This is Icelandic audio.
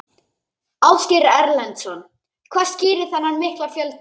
Ásgeir Erlendsson: Hvað skýrir þennan mikla fjölda?